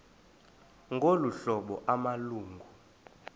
ngolu hlobo amalungu